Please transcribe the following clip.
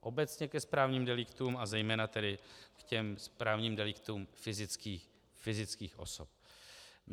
Obecně ke správním deliktům, a zejména tedy k těm správním deliktům fyzických osob.